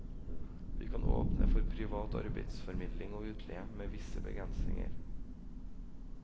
Vi kan åpne for privat arbeidsformidling og utleie, med visse begrensninger.